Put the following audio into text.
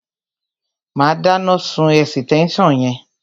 Má dáná sun ẹ̀sítẹ́nsàn yẹn